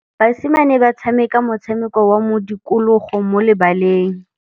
Basimane ba tshameka motshameko wa modikologô mo lebaleng.